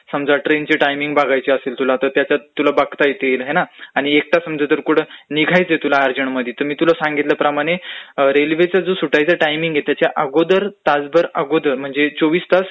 समजा ट्रेनचे टाइमिंग बघायची असेल तुला तर त्यात तुला बघता येतिल ना, आणि समजा एकटा कुठं निघायचय तुला अर्जंटमध्ये तर तुला सांगितल्याप्रमाणे रेल्वेचा जो सुटाचया टाइमिंग आहे त्याच्या अगोदर तासभर अगोदर म्हण जे चोविस तास अगोदर म्हणजे चोविस तास